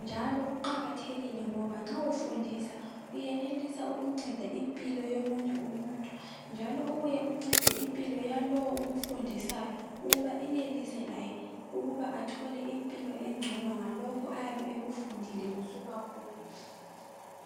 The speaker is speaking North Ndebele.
njalo kuqakathekile ngoba nxa ufundisa uyenelisa ukunceda impilo yomunye umuntu, njalo ubuye uncende impilo yalo omfundisayo ukuba enelise laye ukuba atholaka impilo engcono ngalokho ayabe ekufundile kusuka kuwe.